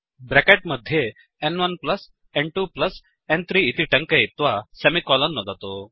bracket मध्ये n1n2n3 इति टङ्कयित्वा सेमिकोलन् नुदतु